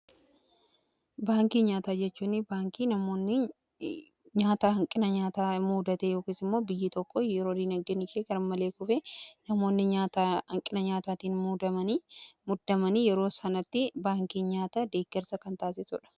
baankii nyaataa jechuunni baankii namoonni nyaata hanqina nyaataa muudate yookiin immoo biyyii tokko yeroo dinagdeen gar malee kufe namoonni yoo hanqina nyaataatiin hubaman yeroo sanatti baankii nyaata deeggarsa kan taasisuudha.